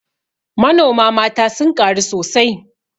Manoma mata sun ƙaru sosai